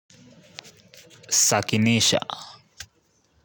Sakinisha.